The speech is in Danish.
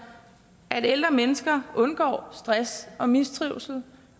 at ældre mennesker undgår stress og mistrivsel